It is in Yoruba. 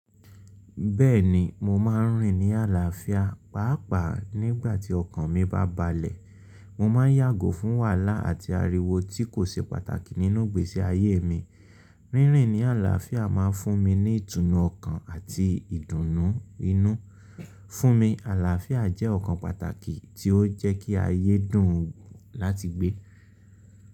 Bẹ́ẹ̀ni, mo máa ń rìn ní àlàáfíà, pàápàá nígbà tí ọkàn mi bá balẹ̀. Mo máa ń yàgò fún wàhálà àti ariwo tí kò ṣe pàtàkì nínú ìgbésí ayé mi. Rírin ní àlàáfíà máa ń fún mi ní ìtùnú ọkàn àti ìdùnnú inú. Fún mi, àlàáfíà jẹ́ ọ̀kan pàtàkì tí ó jẹ́ kí ayé dùn láti gbé.